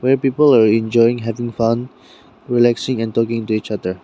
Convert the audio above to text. Where people are enjoying having fun relaxing and talking to each other.